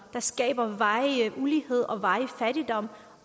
skaber varig ulighed og varig fattigdom